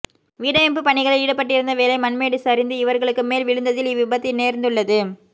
வீடமைப்பு பணிகளில் ஈடுபட்டிருந்த வேளை மண்மேடு சரிந்து இவர்களுக்கு மேல் விழுந்ததில் இவ் விபத்து நேர்ந்துள்ளது